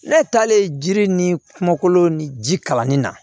Ne taalen jiri ni kɔlo ni ji kalanni na